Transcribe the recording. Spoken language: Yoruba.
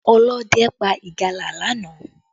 Ọlọ́dẹ pa ìgalà lánàá